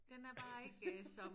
Den er bare ikke øh som